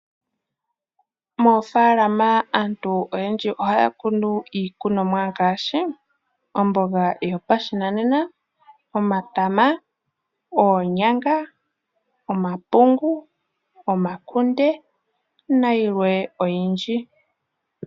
Moofaalama aantu oyendji ohaya kunu iikunomwa ngaashi omboga yo pashinanena, omatama, oonyanga, omapungu, omakunde na yilwe oyindji.